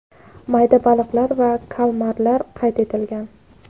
mayda baliqlar va kalmarlar qayd etilgan.